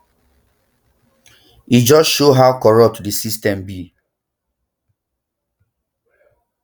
e just show how corrupt di system be